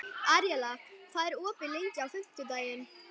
Aríela, hvað er opið lengi á fimmtudaginn?